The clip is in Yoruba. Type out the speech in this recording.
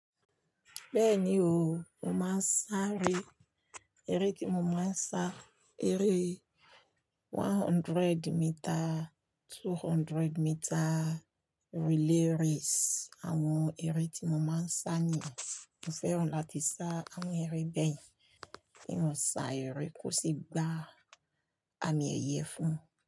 Bẹ́ẹ̀ni o, mo máa ń sá eré. Eré tí mo máa ń sá, eré e one hundred meter, two hundred meter relay race. Àwọn eré tí mo máa ń sá nìyẹn. Mo fẹ́ràn láti sá àwọn eré bẹ́ẹ̀ kí n sá eré kó sì gba àmì ẹ̀yẹ fún un.